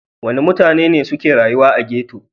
Wane mutane ne suke rayuwa a ghetto?